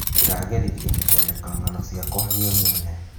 Ndĩrageririe kũandĩka ng'ano ciakwa niĩ mwene.